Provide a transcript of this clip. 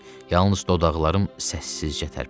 Yalnız dodaqlarım səssizcə tərpəndi.